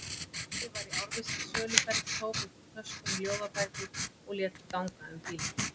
Skáldið var í árvissri söluferð, tók upp úr töskunni ljóðabækur og lét ganga um bílinn.